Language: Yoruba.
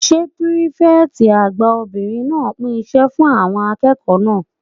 Ṣé pírífẹ̀tì àgbà obìnrin náà pín iṣẹ́ fún àwọn akẹ́kọ̀ọ́ náà?